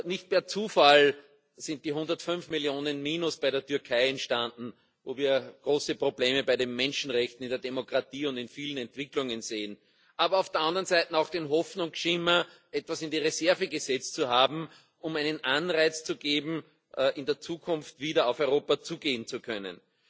Nicht per Zufall sind die 105 Millionen Minus bei der Türkei entstanden, wo wir große Probleme bei den Menschenrechten, in der Demokratie und in vielen Entwicklungen sehen, aber auf der anderen Seite auch den Hoffnungsschimmer, etwas in die Reserve gesetzt zu haben, um einen Anreiz zu geben, in der Zukunft wieder auf Europa zugehen zu können.